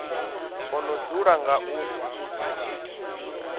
o no dzula nga u